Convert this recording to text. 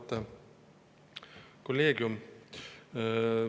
Auväärt kolleegium!